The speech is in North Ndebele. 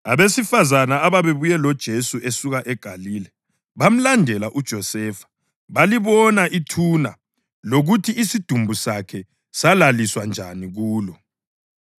Abesifazane ababebuye loJesu esuka eGalile bamlandela uJosefa balibona ithuna lokuthi isidumbu sakhe salaliswa njani kulo.